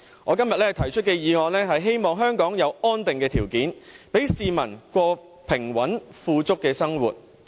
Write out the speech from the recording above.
我今天提出這項議案，是希望香港有安定的條件，讓市民過平穩富足的生活。